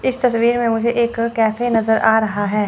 इस तस्वीर में मुझे एक कैफे नजर आ रहा हैं।